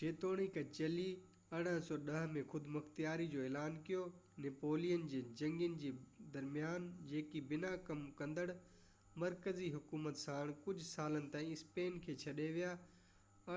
جيتوڻيڪ چلي 1810 ۾ خودمختياري جو اعلان ڪيو نيپولين جي جنگين جي درميان جيڪي بنا ڪم ڪندڙ مرڪزي حڪومت ساڻ ڪجهه سالن تائين اسپين کي ڇڏي ويا،